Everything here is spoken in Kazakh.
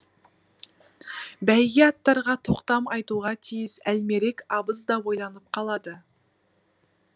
бәйге аттарға тоқтам айтуға тиіс әлмерек абыз да ойланып қалады